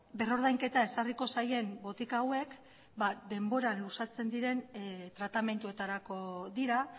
berrordainketa ezarriko zaien botika hauek denbora luzatzen diren tratamenduetarako dira